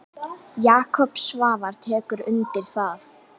Jakob Svavar tekur undir það.